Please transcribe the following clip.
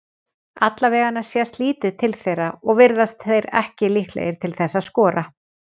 Allavegana sést lítið til þeirra og virðast þeir ekki líklegir til þess að skora.